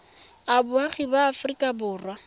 a boagi ba aforika borwa